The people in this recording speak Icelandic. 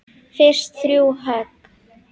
Fyrst þrjú högg.